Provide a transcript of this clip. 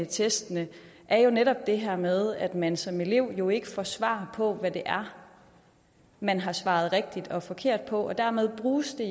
testene er netop det her med at man som elev jo ikke får svar på hvad det er man har svaret rigtigt og forkert på og dermed bruges det